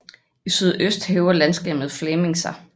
I sydøst hæver landskabet Fläming sig